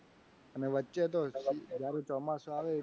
ને વચ્ચે તો જ્યારે ચોમાસુ આવે ને